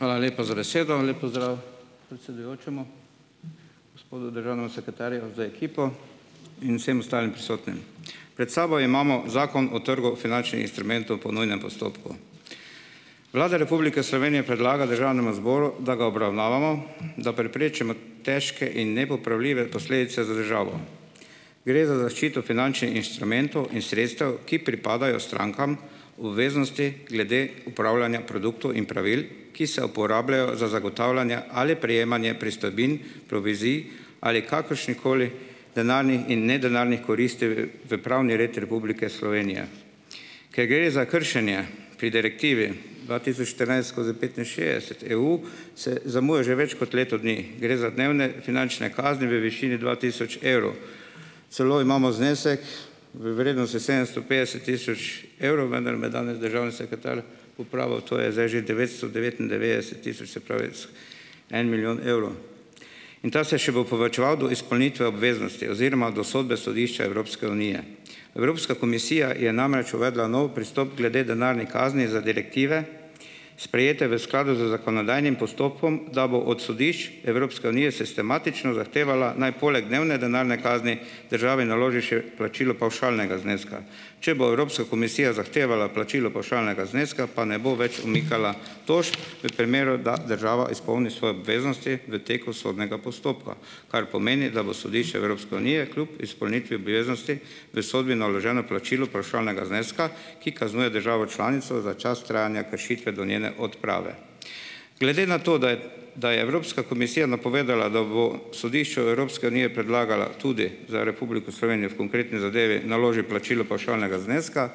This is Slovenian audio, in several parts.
Hvala lepa za besedo. Lep pozdrav predsedujočemu, gospodu državnemu sekretarju z ekipo in vsem ostalim prisotnim! Pred sabo imamo Zakon o trgu finančnih instrumentov po nujnem postopku. Vlada Republike Slovenije predlaga Državnemu zboru, da ga obravnavamo, da preprečimo težko in nepopravljive posledice za državo. Gre za zaščito finančnih inštrumentov in sredstev, ki pripadajo strankam v veznosti glede upravljanja produktov in pravil, ki se uporabljajo za zagotavljanje ali prejemanje pristojbin, provizij ali kakršnihkoli denarnih in nedenarnih koristi, v pravni red Republike Slovenije. Ker gre za kršenje pri Direktivi dva tisoč štirinajst skozi petinšestdeset EU, se zamuja že več kot leto dni. Gre za dnevne finančne kazni v višini dva tisoč evrov. Celo imamo znesek v vrednosti sedemsto petdeset tisoč evrov, vendar me danes državni sekretar popravil, to je zdaj že devetsto devetindevetdeset tisoč, se pravi, en milijon evrov. In ta se še bo povečeval do izpolnitve obveznosti oziroma do sodbe Sodišča Evropske unije. Evropska komisija je namreč uvedla nov pristop glede denarnih kazni za direktive, sprejete v skladu z zakonodajnim postopkom, da bo od Sodišč Evropske unije sistematično zahtevala, naj poleg dnevne denarne kazni državi naloži še plačilo pavšalnega zneska. Če bo Evropska komisija zahtevala plačilo pavšalnega zneska, pa ne bo več umikala tožb, v primeru, da država izpolni svoje obveznosti v teku sodnega postopka, kar pomeni, da bo Sodišče Evropske unije kljub izpolnitvi obveznosti v sodbi naloženo plačilo pavšalnega zneska, ki kaznuje državo članico za čas trajanja kršitve do njene odprave. Glede na to, da je da je Evropska komisija napovedala, da bo Sodišču Evropske unije predlagala tudi za Republiko Slovenijo v konkretni zadevi naloži plačilo pavšalnega zneska,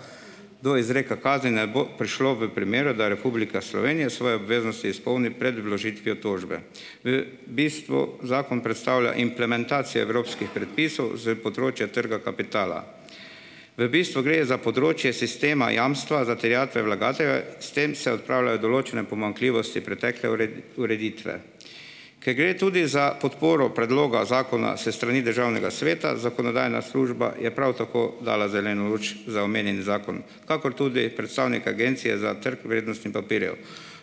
do izreka kazni ne bo prišlo v primeru, da Republika Slovenija svoje obveznosti izpolni pred vložitvijo tožbe. V bistvu zakon predstavlja implementacije evropskih predpisov s področja trga kapitala. V bistvu gre za področje sistema jamstva za terjatve vlagate, s tem se odpravljajo določene pomanjkljivosti pretekle ureditve. Ker gre tudi za podporo predloga zakona s strani Državnega sveta, Zakonodajna služba je prav tako dala zeleno luč za omenjeni zakon, kakor tudi predstavnik Agencije za trg vrednostih papirjev.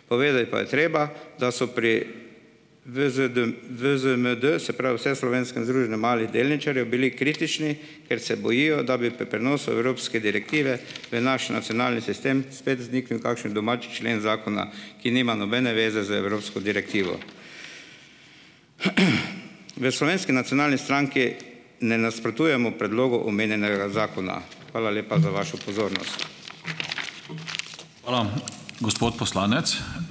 Povedati pa je treba, da so pri VZDM, VZDM, se pravi, Vseslovenskem združenju malih delničarjev, bili kritični, ker se bojijo, da bi prenosu evropske direktive v naš nacionalni sistem spet vzniknil kakšen domač člen zakona, ki nima nobene zveze z evropsko direktivo. V Slovenski nacionalni stranki ne nasprotujemo predlogu omenjenega zakona. Hvala lepa za vašo pozornost.